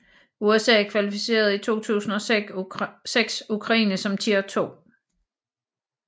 USA klassificerede i 2006 Ukraine som Tier 2